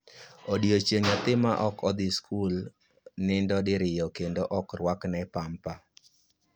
Odiechieng' .nyathi ma ok dhi skul nindo diriyo kendo ok rwakne pampa